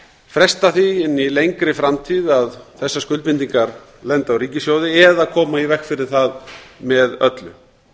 fresta því inn í lengri framtíð að þessar skuldbindingar lendi á ríkissjóði eða koma í veg fyrir það með öllu